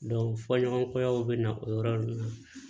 fɔɲɔgɔn kɔyaw bɛ na o yɔrɔ ninnu na